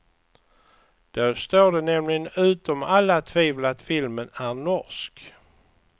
Då står det nämligen utom alla tvivel att filmen är norsk.